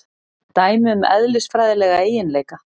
Dæmi um eðlisfræðilega eiginleika.